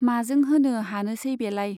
माजों होनो हानोसै बेलाय।